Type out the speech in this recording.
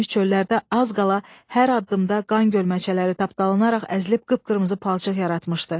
çöllərdə az qala hər addımda qan gölməçələri tapdalanaraq əzilib qıp-qırmızı palçıq yaratmışdı.